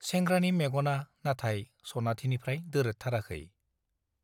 सेंग्रानि मेग'ना नाथाय सनाथिनिफ्राइ दोरोदथाराखै ।